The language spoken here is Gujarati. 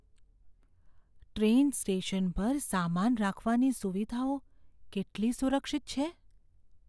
ટ્રેન સ્ટેશન પર સામાન રાખવાની સુવિધાઓ કેટલી સુરક્ષિત છે?